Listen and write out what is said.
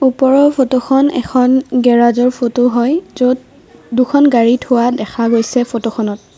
ওপৰৰ ফটোখন এখন গেৰাজৰ ফটো হয় য'ত দুখন গাড়ী থোৱা দেখা গৈছে ফটোখনত।